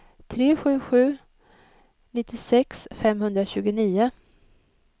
tre sju sju sju nittiosex femhundratjugonio